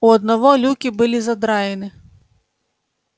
у одного люки были задраены